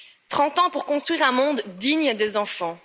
Trente ans pour construire un monde digne des enfants.